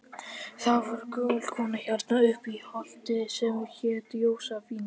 Þá var gömul kona hérna uppi á holti sem hét Jósefína.